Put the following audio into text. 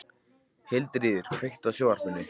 Hildiríður, kveiktu á sjónvarpinu.